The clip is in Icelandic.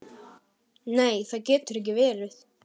Nei það getur ekki verið.